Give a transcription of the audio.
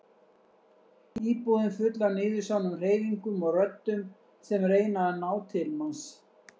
Íbúðin full af niðursoðnum hreyfingum og röddum sem reyna að ná til manns.